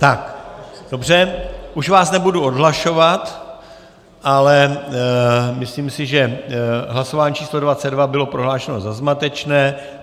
Tak dobře, už vás nebudu odhlašovat, ale myslím si, že hlasování číslo 22 bylo prohlášeno za zmatečné.